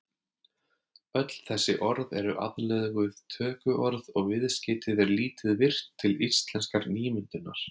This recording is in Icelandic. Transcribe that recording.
Öll þessi orð eru aðlöguð tökuorð og viðskeytið er lítið virkt til íslenskrar nýmyndunar.